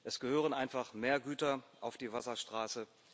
Es gehören einfach mehr Güter auf die Wasserstraße.